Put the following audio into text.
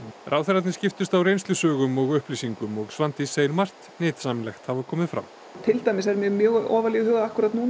ráðherrarnir skiptust á reynslusögum og upplýsingum og Svandís segir margt nytsamlegt hafa komið fram til dæmis er mér mjög ofarlega í huga